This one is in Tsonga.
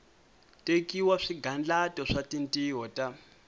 tekiwa swigandlato swa tintiho ta